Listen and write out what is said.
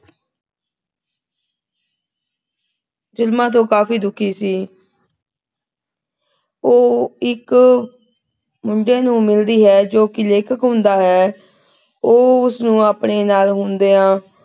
ਜੁਲਮਾਂ ਤੋਂ ਕਾਫੀ ਦੁਖੀ ਸੀ ਉਹ ਇੱਕ ਮੁੰਡੇ ਨੂੰ ਮਿਲਦੀ ਹੈ ਜੋ ਕੀ ਲੇਖਕ ਹੁੰਦਾ ਹੈ। ਉਹ ਉਹਨੂੰ ਆਪਣੇ ਨਾਲ ਹੁੰਦੀਆਂ,